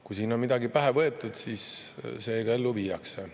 Kui siin on midagi pähe võetud, siis see ka ellu viiakse.